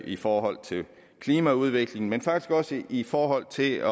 i forhold til klimaudviklingen men faktisk også i forhold til at